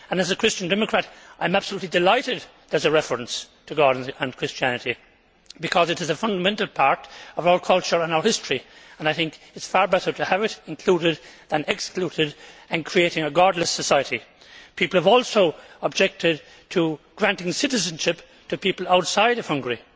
As a Christian Democrat, I am absolutely delighted that there is a reference to God and Christianity, because it is a fundamental part of our culture and our history and I think it is far better to have it included than excluded and creating a godless society. People have also objected to granting citizenship to people outside of Hungary,